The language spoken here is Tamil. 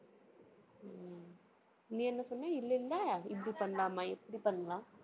நீ என்ன சொன்ன? இல்லைல்ல, இப்படி பண்ணலாமா? எப்படி பண்ணலாம்?